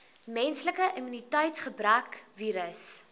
menslike immuniteitsgebrekvirus